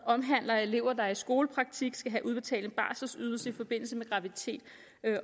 omhandler elever der i skolepraktik skal have udbetalt en barselydelse i forbindelse med graviditet